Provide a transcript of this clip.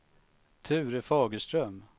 Ture Fagerström